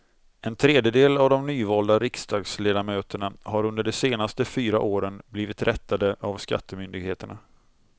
En tredjedel av de nyvalda riksdagsledamöterna har under de senaste fyra åren blivit rättade av skattemyndigheterna.